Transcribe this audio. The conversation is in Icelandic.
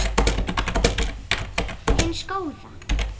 hins góða?